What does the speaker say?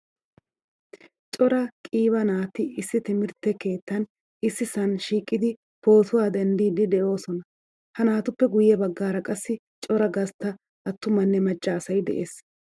Cora qiiba naati issi timirtte keettan issisan shiiqidi pootuwaa denddidi deosona. Ha naatuppe guye baggaara qassi cora gastta attumanne macca asay de'ees.